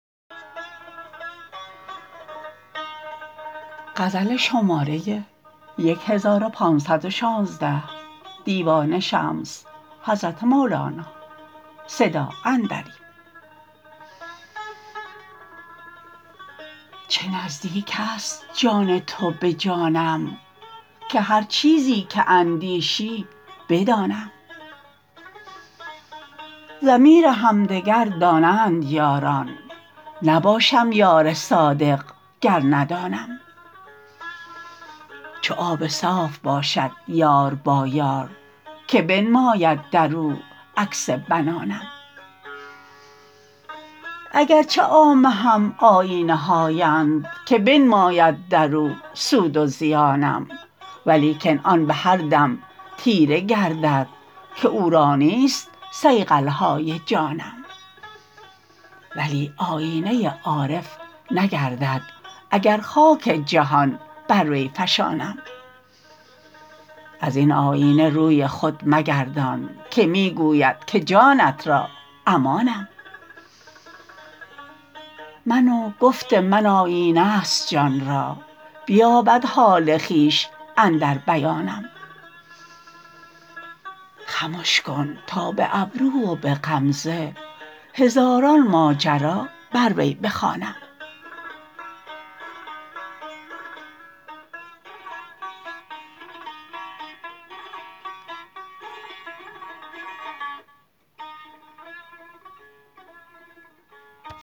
چه نزدیک است جان تو به جانم که هر چیزی که اندیشی بدانم ضمیر همدگر دانند یاران نباشم یار صادق گر ندانم چو آب صاف باشد یار با یار که بنماید در او عکس بنانم اگر چه عامه هم آیینه هااند که بنماید در او سود و زیانم ولیکن آن به هر دم تیره گردد که او را نیست صیقل های جانم ولی آیینه ای عارف نگردد اگر خاک جهان بر وی فشانم از این آیینه روی خود مگردان که می گوید که جانت را امانم من و گفت من آیینه ست جان را بیابد حال خویش اندر بیانم خمش کن تا به ابرو و به غمزه هزاران ماجرا بر وی بخوانم